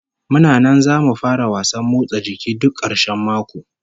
Muna nan zamu fara wasan motsa jiki duk karshen mako